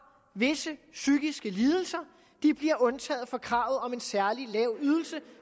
visse psykiske lidelser bliver undtaget fra kravet om en særlig lav ydelse